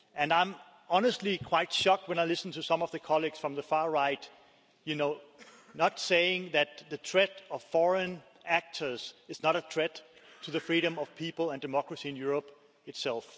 I'm honestly quite shocked when I listen to some of our colleagues from the far right saying that the threat of foreign actors is not a threat to the freedom of people and democracy in Europe itself.